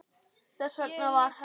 Þess vegna var herra